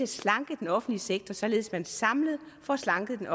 slanke den offentlige sektor således at man samlet får slanket den